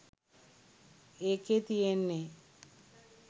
ඒකේ තියෙන්නෙ